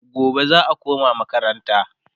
gobe za'a koma makaranta